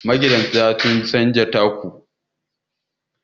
magidanta sun canja taku